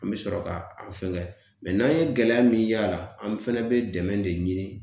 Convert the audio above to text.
An bɛ sɔrɔ ka a fɛnkɛ mɛ n'an ye gɛlɛya min y'a la, an fɛnɛ bɛ dɛmɛ de ɲini